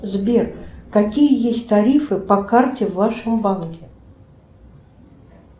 сбер какие есть тарифы по карте в вашем банке